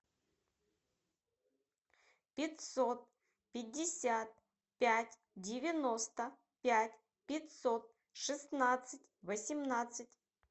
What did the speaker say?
пятьсот пятьдесят пять девяносто пять пятьсот шестнадцать восемнадцать